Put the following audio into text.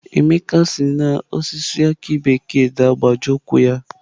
Emeka si n'osisi aki bekee daa gbajie ụkwụ ya